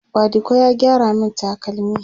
badiko ya gyara min takalmi